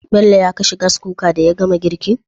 Bello ya kashe Gas Cooker daya gama girkin?